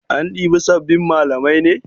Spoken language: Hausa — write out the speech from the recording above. An ɗibi sabbin malamai ne?